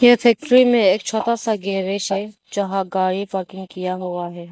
ये फैक्ट्री में एक छोटा सा गैरेज है जहां गाड़ी पार्किंग किया हुआ है।